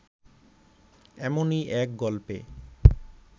এমনই এক গল্পে